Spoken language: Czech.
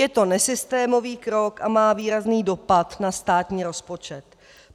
Je to nesystémový krok a má výrazný dopad na státní rozpočet.